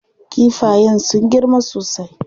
Kifayen sun girma sosai.